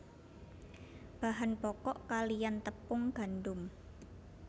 Bahan pokok kaliyan tepung gandum